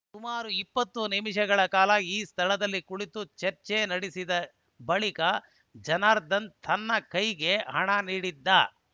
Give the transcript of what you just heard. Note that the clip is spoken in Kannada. ಸುಮಾರು ಇಪ್ಪತ್ತು ನಿಮಿಷಗಳ ಕಾಲ ಈ ಸ್ಥಳದಲ್ಲಿ ಕುಳಿತು ಚರ್ಚೆ ನಡೆಸಿದ ಬಳಿಕ ಜನಾರ್ದನ್‌ ತನ್ನ ಕೈಗೆ ಹಣ ನೀಡಿದ್ದ